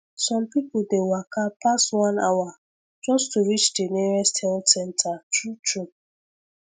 some people dey waka pass one hour just to reach the nearest health center truetrue